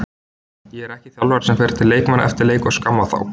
Ég er ekki þjálfari sem fer til leikmanna eftir leik og skamma þá.